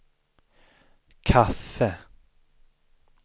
kaffe